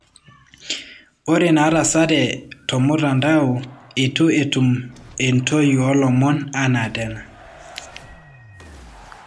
Ore natasate tomutadao etu etum entoii olomon ana tena.